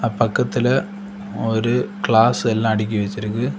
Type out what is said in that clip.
பக்கத்துல ஒரு கிளாஸ் எல்லா அடுக்கி வச்சிருக்கு.